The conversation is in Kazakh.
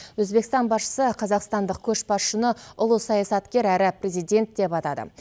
өзбекстан басшысы қазақстандық көшбасшыны ұлы саясаткер әрі президент деп атады